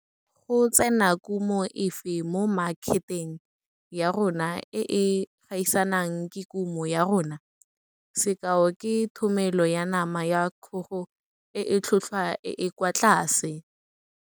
Go tsena kumo efe mo makheteng ya rona e e gaisanang le kumo ya rona? Sekao ke thomelo ya nama ya kgogo e e tlhotlhwa e e kwa tlase.